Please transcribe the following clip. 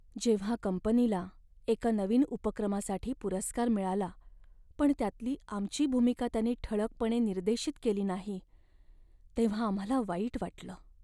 जेव्हा कंपनीला एका नवीन उपक्रमासाठी पुरस्कार मिळाला, पण त्यातली आमची भूमिका त्यांनी ठळकपणे निर्देशित केली नाही, तेव्हा आम्हाला वाईट वाटलं.